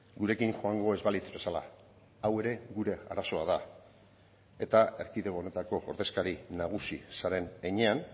gurekin joango ez balitz bezala hau ere gure arazoa da eta erkidego honetako ordezkari nagusi zaren heinean